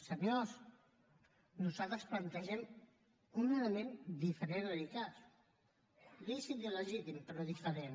senyors nosaltres plantegem un element diferent de l’icass lícit i legítim però diferent